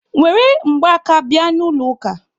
Were mgbaaka bịa n'ụlọ ụka!